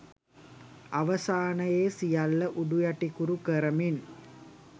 අවසානයෙ සියල්ල උඩුයටිකුරු කරමින්